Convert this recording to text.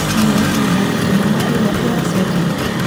No ũhote gũthaka thinema ĩrĩa ĩracoka?